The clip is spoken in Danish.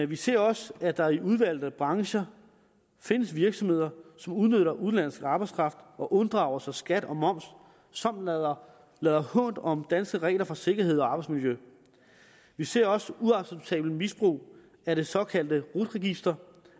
vi ser også at der i udvalgte brancher findes virksomheder som udnytter udenlandsk arbejdskraft og unddrager sig skat og moms samt lader lader hånt om danske regler for sikkerhed og arbejdsmiljø vi ser også uacceptabelt misbrug af det såkaldte rut register